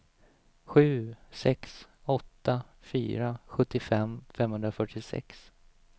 sju sex åtta fyra sjuttiofem femhundrafyrtiosex